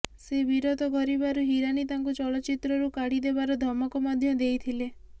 ସେ ବିରୋଧ କରିବାରୁ ହିରାନୀ ତାଙ୍କୁ ଚଳଚ୍ଚିତ୍ରରୁ କାଢ଼ି ଦେବାର ଧମକ ମଧ୍ୟ ଦେଇଥିଲେ